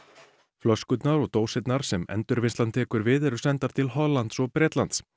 flöskurnar og dósirnar sem Endurvinnslan tekur við eru sendar til Hollands og Bretlands